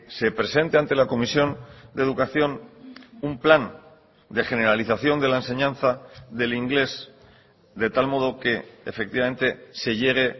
se presente ante la comisión de educación un plan de generalización de la enseñanza del inglés de tal modo que efectivamente se llegue